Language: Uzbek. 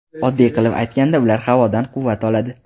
Oddiy qilib aytganda, ular havodan quvvat oladi.